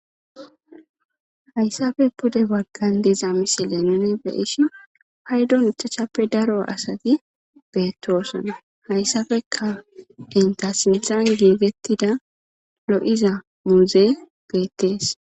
hayssafe pude waggan deza misi leenone beishi haydon ichachappe daro asati beettoosana hayssafeka inta sinthan giigettida lo7iza muuze beettees